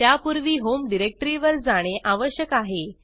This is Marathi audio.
त्यापूर्वी होम डिरेक्टरीवर जाणे आवश्यक आहे